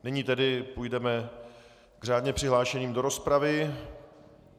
Nyní tedy půjdeme k řádně přihlášeným do rozpravy.